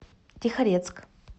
тихорецк